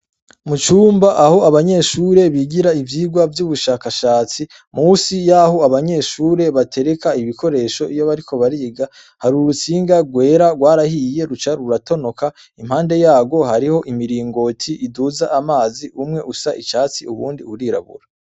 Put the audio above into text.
Mu cumba, aho abanyeshure bigira ivyigwa vy'ubushakashatsi, musi y'aho abanyeshure batereka ibikoresho iyo bariko bariga, hari urutsinga rwera, rwarahiye ruca ruratonoka, impande yarwo hariho imiringoti iduza amazi, umwe usa icatsi uwundi urirabura.